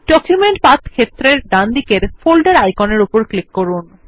document path ক্ষেত্রের ডানদিকের folder আইকনের উপর ক্লিক করুন